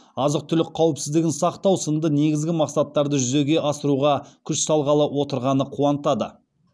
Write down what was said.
азық түлік қауіпсіздігін сақтау сынды негізгі мақсаттарды жүзеге асыруға күш салғалы отырғаны қуантады